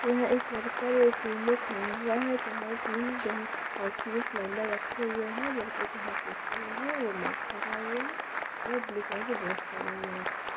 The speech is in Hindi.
यह एक कर्मी पीले खड़ा हुआ है यहां तीन ऑक्सीजन सिलेंडर रखे हुए हैं लड़के के हाथ में फोन है मार्क्स लगाए हुए हैं वह ब्लू कलर की ड्रेस पहने हुए--